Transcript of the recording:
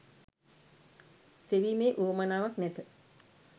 සෙවීමේ උවමනාවක් නැත